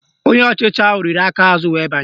Onye ọchịchị ahụ riri aka aza were banye